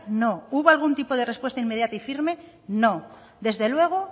no hubo algún tipo de respuesta inmediata y firme no desde luego